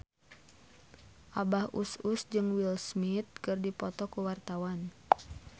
Abah Us Us jeung Will Smith keur dipoto ku wartawan